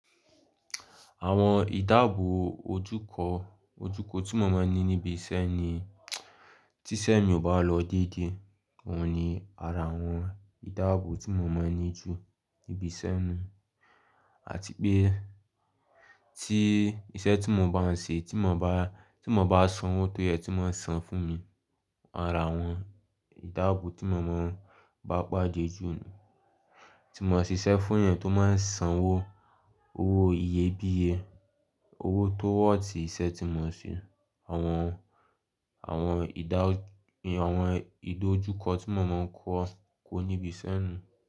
Àwọn ìdáàbò ojúkọ, ojúkọ tí mo máa ń ní níbi iṣẹ́ ni tíṣẹ́ mi ò bá lọ dédé, òun ni ara àwọn ìdáàbò tí mo máa ń ní ju níbi iṣẹ́ mi. Àti pé tí iṣẹ́ tí mo bá ń ṣe tí mo bá, tí mo bá sanwó tó yẹ tí wọ́n san fún mi, ara àwọn ìdáàbò tí mo máa ń bá pàdé jù ni. Tí mo ń ṣiṣẹ́ fún èèyàn tó máa ń sanwó, owó iyebíye, owó tó worth iṣẹ́ tí mo ń ṣe, àwọn, àwọn ìdá, àwọn ìdojúkọ tí mo máa ń kó, kó níbi iṣẹ́ mi.